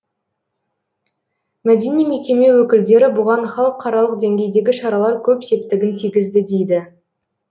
мәдени мекеме өкілдері бұған халықаралық деңгейдегі шаралар көп септігін тигізді дейді